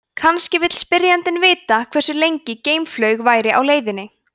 kannski vill spyrjandinn vita hversu lengi geimflaug væri á leiðinni